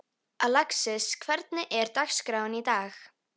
Alexis, hvernig er dagskráin í dag?